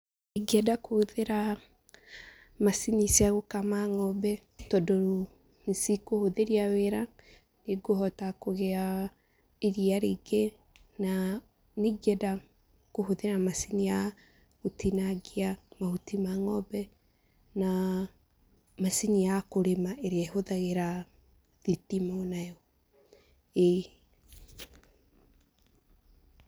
Ingĩenda kũhũthĩra macini cia gũkama ng'ombe tondũ nĩ cĩkũhũthĩria wĩra, nĩ ngũhota kũgĩa iria rĩngĩ na nĩ ingĩenda kũhũthĩra macini ya gũtinangia mahuti ma ng'ombe na macini ya kũrĩma ĩrĩa ĩhũthagĩra thitima o nayo, ĩĩ.